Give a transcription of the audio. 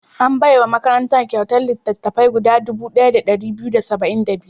An bai wa makarantar kyautar littattafai guda dubu ɗaya da ɗari biyu da saba'in da biyar.